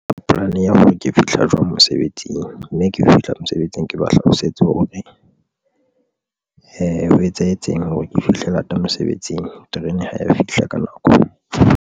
Polane ya hore ke fihla jwang mosebetsing mme ke fihla mosebetsing, ke ba hlalosetse hore ho etsahetseng hore ke fihle lata mosebetsing. Terene ha eya fihla ka nako.